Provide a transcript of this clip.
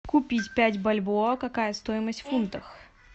купить пять бальбоа какая стоимость в фунтах